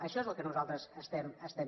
això és el que nosaltres demanem